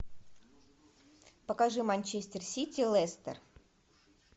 покажи манчестер сити лестер